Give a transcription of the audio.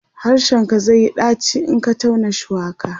harshen ka zaiyi ɗaci in Ka tauna shuwaka